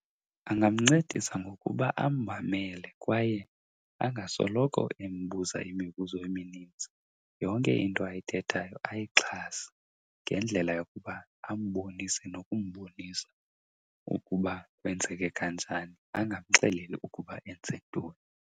Angamncedisa ngokuba ammamele kwaye angasoloko embuza imibuzo eminintsi. Yonke into ayithethayo ayixhase ngendlela yokuba ambonise nokumbonisa ukuba kwenzeke kanjani, angamxeleli ukuba enze ntoni.